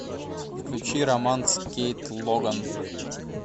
включи роман с кейт логан